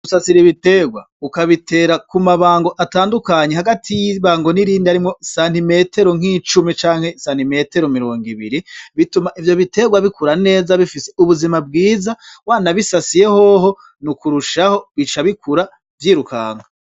Gusasira ibiterwa ukabitera ku mabango atandukanye hagati yibango nirindi harimwo santimetero nkicumi canke santimetero mirongo ibiri bituma ivyo biterwa bikura neza bifise ubuzima bwiza wanabisasiye hoho nukurushaho bica bikura vyirukanka.